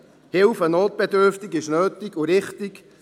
Die Hilfe an Notbedürftige ist nötig und richtig.